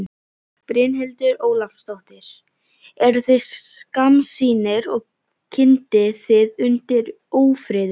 Brynhildur Ólafsdóttir: Eruð þið skammsýnir og kyndið þið undir ófriði?